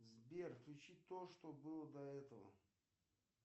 сбер включи то что было до этого